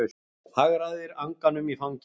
Hagræðir anganum í fanginu.